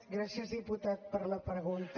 gràcies diputat per la pregunta